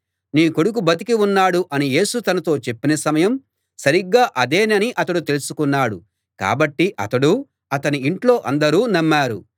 నీ కొడుకు బతికి ఉన్నాడు అని యేసు తనతో చెప్పిన సమయం సరిగ్గా అదేనని అతడు తెలుసుకున్నాడు కాబట్టి అతడూ అతని ఇంట్లో అందరూ నమ్మారు